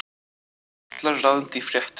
Karlar ráðandi í fréttum